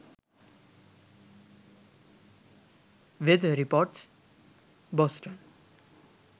weather reports boston